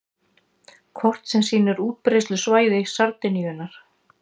Kort sem sýnir útbreiðslusvæði sardínunnar.